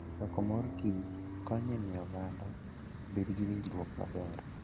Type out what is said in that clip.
Choko mor kich konyo e miyo oganda obed gi winjruok maber.